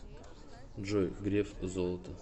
джой греф золото